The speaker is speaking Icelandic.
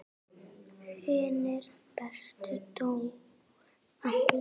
Hinir bestu dóu allir.